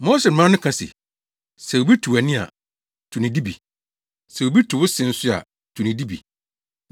“Mose mmara no ka se, ‘Sɛ obi tu wʼani a, tu ne de bi. Sɛ obi tu wo se nso a, tu ne de bi.’